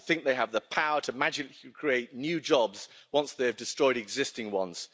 They think they have the power to magically create new jobs once they have destroyed existing ones.